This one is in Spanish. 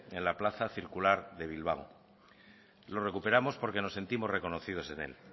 en la plaza circular de bilbao lo recuperamos porque nos sentimos reconocidos en él